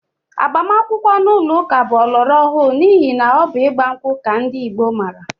Agbamakwụkwọ ụlọụka bụ ọlọrọọhụụ n'ihi na ọ bụ ịgba nkwụ ka ndị Igbo maara